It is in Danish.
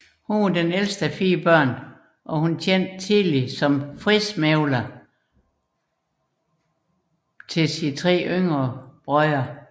Hun var ældst af fire børn og tjente tidligt som fredsmægler blandt sine tre yngre brødre